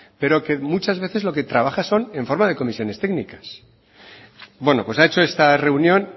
pero que muchas veces lo que trabaja son en forma de comisiones técnicas bueno pues ha hecho esta reunión